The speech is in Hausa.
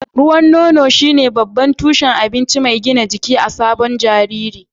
Ruwan nono shine babban tushen abinci mai gina jiki na sabon jariri.